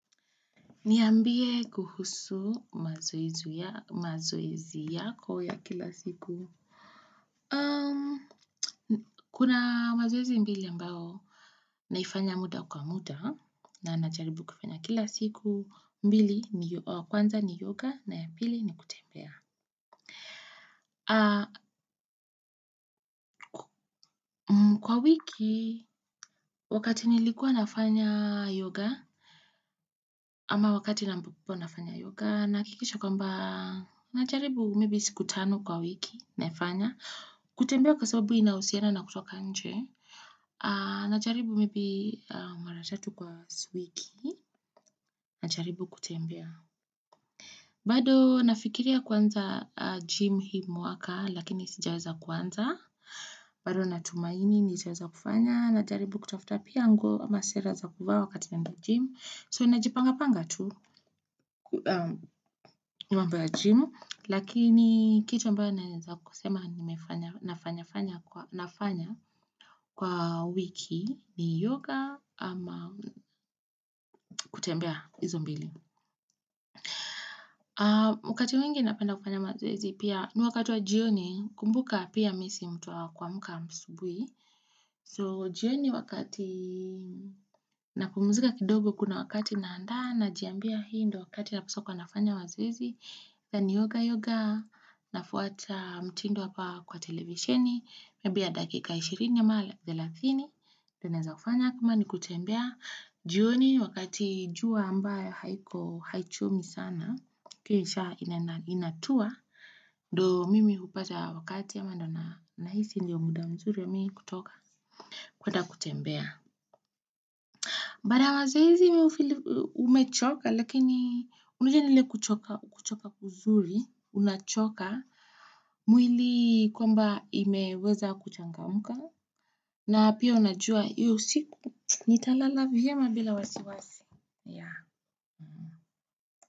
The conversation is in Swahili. Niambie kuhusu mazoezi yako ya kila siku. Kuna mazoezi mbili ambao naifanya muda kwa muda na najaribu kufanya kila siku. Mbili kwanza ni yoga na ya pili ni kutembea. Kwa wiki, wakati nilikuwa nafanya yoga ama wakati ambapo nafanya yoga nahakikisha kwamba najaribu maybe siku tano kwa wiki naifanya. Kutembea kwa sababu inahusiana na kutoka nje Najaribu maybe mara tatu kwa wiki Najaribu kutembea bado nafikiria kuanza gym hii mwaka Lakini sijaweza kuanza bado natumaini nitaweza kufanya Najaribu kutafuta pia nguo ama sera za kuvaa wakati naenda gym So najipanga panga tu mambo ya gym Lakini kitu ambayo naweza kusema nafanya fanya kwa wiki ni yoga ama kutembea hizo mbili. Wakati mwingi napenda kufanya mazoezi pia ni wakati wa jioni kumbuka pia mimi si mtu wakuamka asubuhi. So jioni wakati napumzika kidogo kuna wakati naanda najiambia hii ndo wakati napaswa kuwa nafanya mazoezi na ni yoga yoga nafuata mtindo hapa kwa televisioni labda kwa dakika ishirini au thelathini. Naweza kufanya kama nikutembea. Jioni wakati jua ambayo haiko haichomi sana. Kuisha inatua ndo mimi hupata wakati ama ndio nahisi ndio muda mzuri wa mimi kutoka. Kwenda kutembea. Mbada wazizi umechoka lakini unujenile kuchoka kuzuri unachoka mwili kwamba imeweza kuchangamka. Na pia unajua, hiyo usiku nitalala vyema bila wasi wasi.